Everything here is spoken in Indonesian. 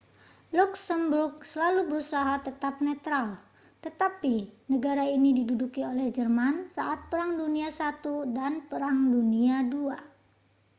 luksemburg selalu berusaha tetap netral tetapi negara ini diduduki oleh jerman saat perang dunia i dan perang dunia ii